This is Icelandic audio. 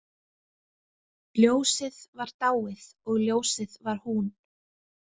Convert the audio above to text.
Ljósið var dáið og ljósið var hún.